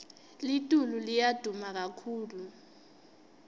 litulu liya duma kakhulu